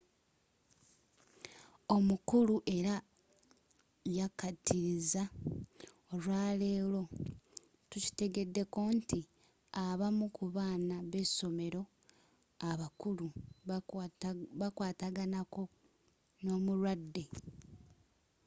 omukulu era yakkatiriza olwaleero tukitegeddeko nti abamu ku baana b’essomero abakulu bakwataganako n’omulwadde.